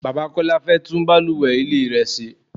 Bàbá Kọ́lá fẹ́ tún bàlùwẹ̀ ilé rẹ ṣe.